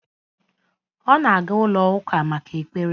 Ọ na-aga ụlọ-Ụka maka ekpere